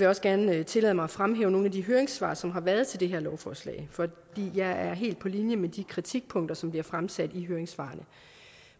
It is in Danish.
jeg også gerne tillade mig at fremhæve nogle af de høringssvar som har været til det her lovforslag for jeg er helt på linje med de kritikpunkter som bliver fremsat i høringssvarene